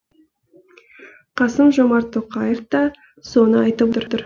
қасым жомарт тоқаев та соны айтып отыр